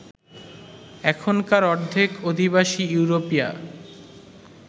এখানকার অর্ধেক অধিবাসী ইউরোপীয়